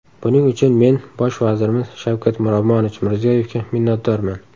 Buning uchun men Bosh vazirimiz Shavkat Miromonovich Mirziyoyevga minnatdorman.